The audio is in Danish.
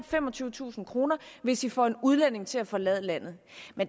femogtyvetusind kr hvis i får en udlænding til at forlade landet